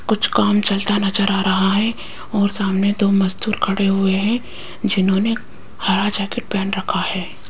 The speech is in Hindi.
कुछ काम चलता नज़र आ रहा है और सामने दो मजदूर खडे़ हुए है जिन्होंने हरा जैकेट पहन रखा है।